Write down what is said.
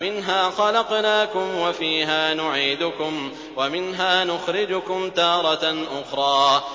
۞ مِنْهَا خَلَقْنَاكُمْ وَفِيهَا نُعِيدُكُمْ وَمِنْهَا نُخْرِجُكُمْ تَارَةً أُخْرَىٰ